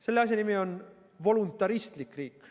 Selle asja nimi on voluntaristlik riik.